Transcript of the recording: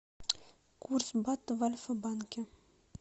курс бата в альфа банке